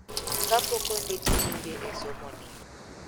Kapok ondiki nyinge e somoni.